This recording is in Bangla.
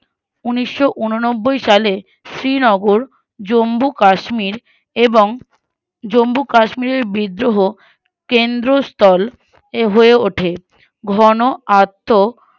উনিশোউনব্বৈ সালে শ্রীনগর জম্মু কাশ্মীর এবং জম্মু কাশ্মীরের ব্রিদোহ কেন্দ্রস্থল এ হয়ে ওঠে ঘন আত্ত